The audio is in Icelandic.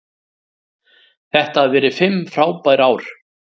Þetta hafa verið fimm frábær ár.